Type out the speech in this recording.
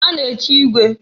A na-echi igwe.